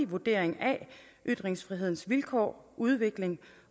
vurdering af ytringsfrihedens vilkår og udvikling